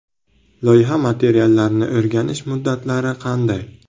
Loyiha materiallarini o‘rganish muddatlari qanday?